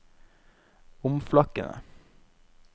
omflakkende